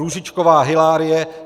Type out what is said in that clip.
Růžičková Hylárie